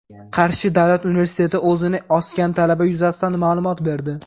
Qarshi davlat universiteti o‘zini osgan talaba yuzasidan ma’lumot berdi.